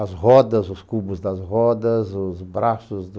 As rodas, os cubos das rodas, os braços do...